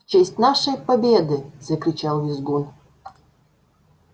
в честь нашей победы закричал визгун